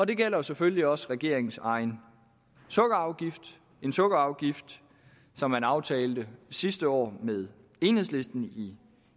det gælder selvfølgelig også regeringens egen sukkerafgift en sukkerafgift som man aftalte sidste år med enhedslisten i